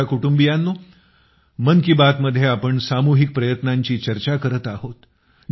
माझ्या कुटुंबियांनो मन की बातमध्ये आपण असे सामूहिक प्रयत्नांची चर्चा करत आहोत